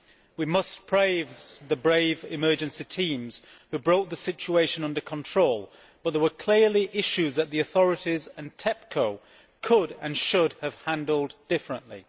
We must praise the brave emergency teams who brought the situation under control, but there were clearly issues that the authorities and TEPCO could and should have handled differently.